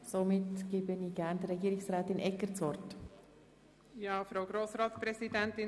Somit erteile ich gerne Frau Regierungsrätin Egger das Wort.